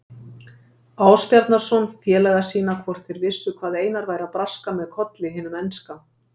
Ásbjarnarson félaga sína hvort þeir vissu hvað Einar væri að braska með Kolli hinum enska.